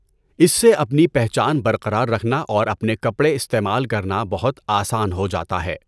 اس سے اپنی پہچان برقرار رکھنا اور اپنے کپڑے استعمال کرنا بہت آسان ہو جاتا ہے۔